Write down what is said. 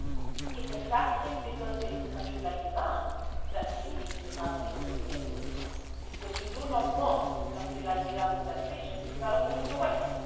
It is exactly because it is a country like Iran that you need to have a nuclear deal, because you do not want a country like Iran in that region to develop a nuclear weapon.